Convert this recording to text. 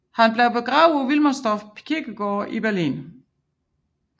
Han blev begravet på Wilmersdorf kirkegård i Berlin